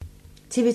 TV 2